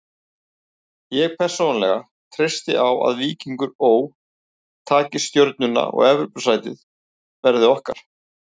Ég persónulega treysti á að Víkingur Ó. taki Stjörnuna og Evrópusætið verði okkar.